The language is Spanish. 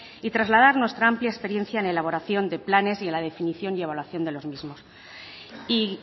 y trasladar nuestra amplia experiencia en elaboración de planes y en la definición y evaluación de los mismos y